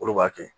Olu b'a kɛ